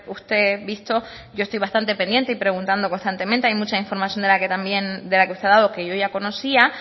usted visto yo estoy bastante pendiente y preguntando constantemente hay mucha información de la que también de la que usted ha dado que yo ya conocía